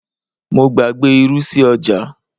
mo gbàgbé irú sí ọjà